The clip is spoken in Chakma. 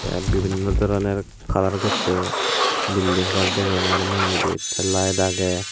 te bibinno doroner kalar gosse building gor degongor mui ebet te light agey.